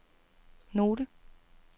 note